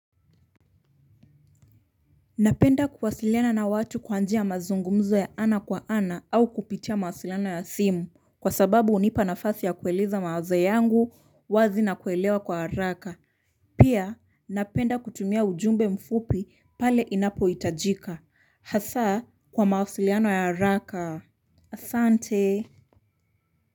Napenda kuwasiliana na watu kwa njia ya mazungumzo ya ana kwa ana au kupitia mawasiliano ya simu kwa sababu hunipa nafasi ya kueleza mawazo yangu wazi na kuelewa kwa haraka pia napenda kutumia ujumbe mfupi pale inapo hitajika hasa kwa mawasiliano ya haraka asante.